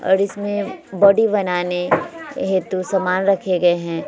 और इसमें बॉडी बनाने हेतु सामान रखे गए है।